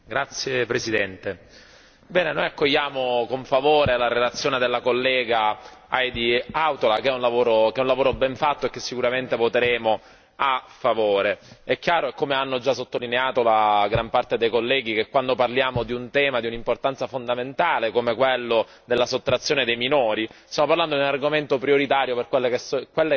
Signora Presidente, onorevoli colleghi, noi accogliamo con favore la relazione della collega Heidi Hautala che è un lavoro ben fatto e rispetto al quale sicuramente voteremo a favore. È chiaro, come hanno già sottolineato in gran parte i colleghi, che quando parliamo di un tema di un'importanza fondamentale, come quello della sottrazione dei minori, stiamo parlando di un argomento prioritario per quelle che